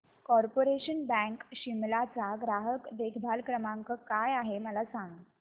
corporation bank Shimla चा ग्राहक देखभाल नंबर काय आहे मला सांग